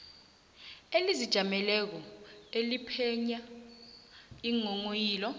elizijameleko eliphenya iinghonghoyilo